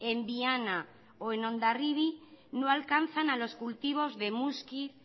en viana o en hondarribi no alcanzan a los cultivos de muskiz